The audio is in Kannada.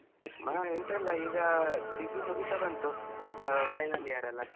ಹಾ ಎಂತ ಇಲ್ಲ degree ಮುಗಿತಾ ಬಂತು ಅಹ್ final year ಅಲ್ಲಾ .